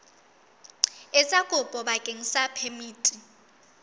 etsa kopo bakeng sa phemiti